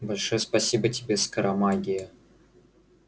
большое спасибо тебе скоромагия